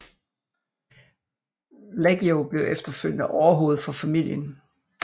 Leggio blev efterfølgende overhoved for familien